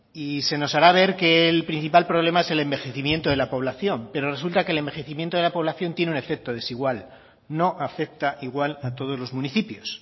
y se nos hará ver que el principal problema es el envejecimiento de la población pero resulta que el envejecimiento de la población tiene un efecto desigual no afecta igual a todos los municipios